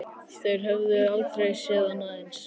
Þeir höfðu aldrei séð annað eins.